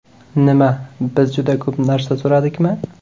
Nima, biz juda ko‘p narsa so‘radikmi?